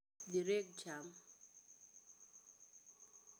Dhi reg cham